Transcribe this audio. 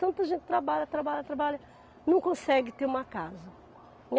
Tanta gente trabalha, trabalha, trabalha, não consegue ter uma casa.